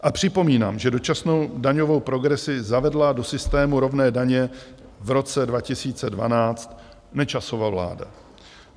A připomínám, že dočasnou daňovou progresi zavedla do systému rovné daně v roce 2012 Nečasova vláda.